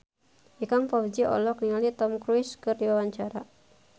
Ikang Fawzi olohok ningali Tom Cruise keur diwawancara